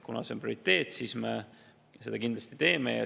Kuna see on prioriteet, siis me seda kindlasti teeme.